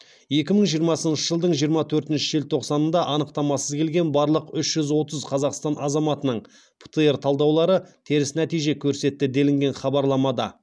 екі мың жиырмасыншы жылдың жиырма төртінші желтоқсанында анықтамасыз келген барлық үш жүз отыз қазақстан азаматының птр талдаулары теріс нәтиже көрсетті делінген хабарламада